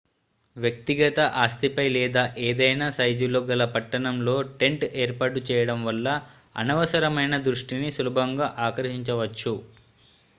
వ్యక్తిగత ఆస్తిపై లేదా ఏదైనా సైజులో గల పట్టణంలో టెంట్ ఏర్పాటు చేయడం వల్ల అనవసరమైన దృష్టిని సులభంగా ఆకర్షించవచ్చు